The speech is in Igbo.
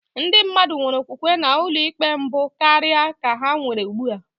Ndị mmadụ nwere okwukwe na ụlọikpe mbụ karịa ka ha nwere ugbu a.